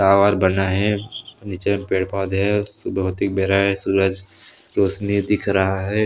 Tower बना हे निचे पेड़ पौधे हे सुबह होती के बेरा ये सूरज रौशनी दिख रहा है।